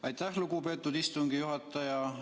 Aitäh, lugupeetud istungi juhataja!